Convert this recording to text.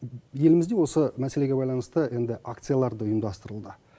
елімізде осы мәселеге байланысты енді ақциялар да ұйымдастырылды